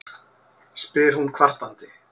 spyr hún kvartandi.